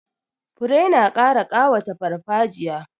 Fure na ƙara ƙawata farfajiya.